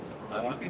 Bəli, açırıq.